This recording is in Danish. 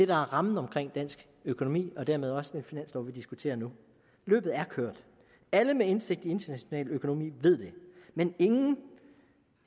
der er rammen om dansk økonomi og dermed også den finanslov vi diskuterer nu løbet alle med indsigt i international økonomi ved det men ingen